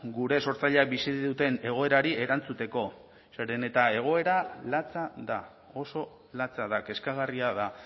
gure sortzaileek bizi duten egoerari erantzuteko zeren eta egoera latza da oso latza da kezkagarria da